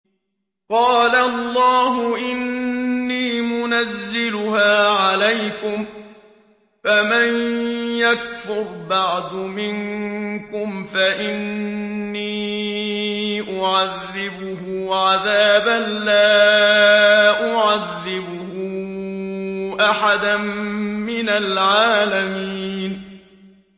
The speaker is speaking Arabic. قَالَ اللَّهُ إِنِّي مُنَزِّلُهَا عَلَيْكُمْ ۖ فَمَن يَكْفُرْ بَعْدُ مِنكُمْ فَإِنِّي أُعَذِّبُهُ عَذَابًا لَّا أُعَذِّبُهُ أَحَدًا مِّنَ الْعَالَمِينَ